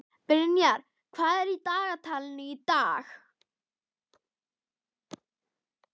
Brynjar, hvað er í dagatalinu í dag?